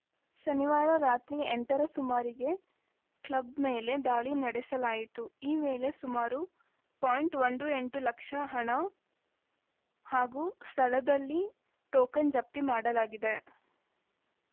ಶನಿವಾರ ರಾತ್ರಿ ಎಂಟ ರ ಸುಮಾರಿಗೆ ಕ್ಲಬ್‌ ಮೇಲೆ ದಾಳಿ ನಡೆಸಲಾಯಿತು ಈ ವೇಳೆ ಸುಮಾರು ಪಾಯಿಂಟ್ ಒಂದು ಎಂಟು ಲಕ್ಷ ಹಣ ಹಾಗೂ ಸ್ಥಳದಲ್ಲಿ ಟೋಕನ್‌ ಜಪ್ತಿ ಮಾಡಲಾಗಿದೆ